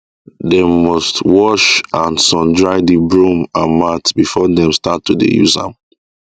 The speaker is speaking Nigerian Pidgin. dem must wash and sun dry the broom and mat before dem start to dey use am